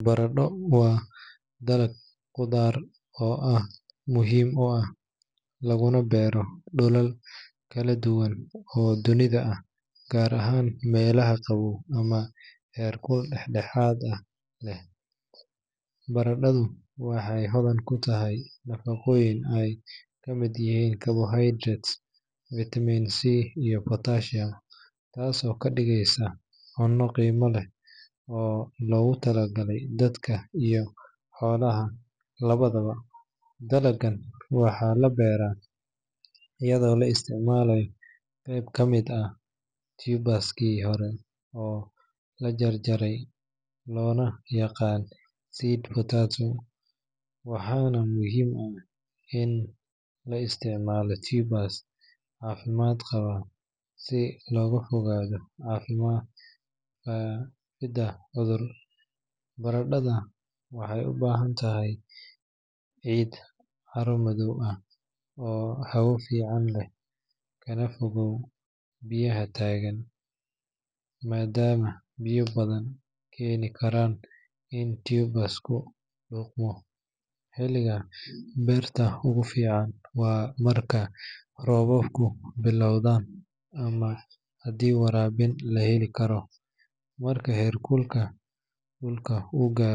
Baradho waa dalag qudaar ah oo aad muhiim u ah, laguna beero dhulal kala duwan oo dunida ah, gaar ahaan meelaha qabow ama heerkul dhexdhexaad ah leh. Baradhadu waxay hodan ku tahay nafaqooyin ay ka mid yihiin carbohydrates, vitamin C, iyo potassium, taasoo ka dhigaysa cunno qiimo leh oo loogu talagalay dadka iyo xoolaha labadaba. Dalaggan waxaa la beeraa iyadoo la isticmaalo qayb ka mid ah tuber-kii hore oo la jaray loona yaqaan seed potato, waxaana muhiim ah in la isticmaalo tubers caafimaad qaba si looga fogaado faafidda cudur. Baradhada waxay u baahan tahay ciid carro-madaw ah oo hawo fiican leh, kana fayoow biyaha taagan, maadaama biyo badani keeni karaan in tuber-ku qudhmo. Xilliga beerta ugu fiican waa marka roobabku bilowdaan, ama haddii waraabin la heli karo, marka heerkulka dhulka uu gaaro.